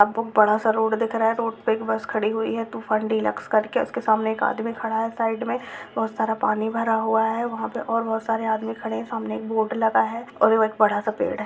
यहाँ बहुत बड़ा सा रोड़ दिख रहा है | रोड़ पे एक बस खड़ी हुई है तूफान डीलक्स करके | उसके सामने एक आदमी खडा है | साइड में बहुत सारा पानी भरा हुआ है वहाँ पे और बहुत सारे आदमी खड़े हैं | सामने एक बोर्ड लगा है और एक बड़ा सा पेड़ है।